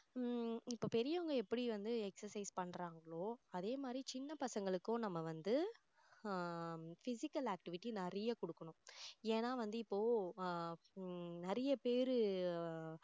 உம் இப்போ பெரியவங்க எப்படி வந்து exercise பண்றாங்களோ அதே மாதிரி சின்ன பசங்களுக்கும் நம்ம வந்து ஆஹ் physical activity நிறைய கொடுக்கணும் ஏன்னா வந்து இப்போ ஆஹ் உம் நிறைய பேரு